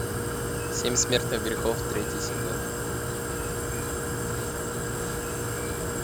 семь смертных грехов третий сезон